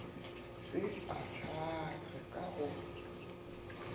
se e ahlaahlwe ka go